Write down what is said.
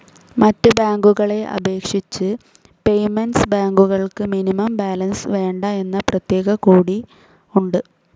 മറ്റ് ബാങ്കുകളെ അപേക്ഷിച്ച് പേയ്മെന്റ്സ്‌ ബാങ്കുകൾക്ക് മിനിമം ബാലൻസ്‌ വേണ്ട എന്ന പ്രത്യേക കൂടി ഉണ്ട്.